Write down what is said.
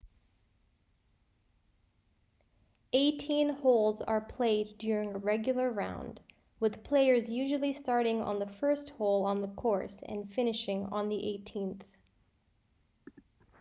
eighteen holes are played during a regular round with players usually starting on the first hole on the course and finishing on the eighteenth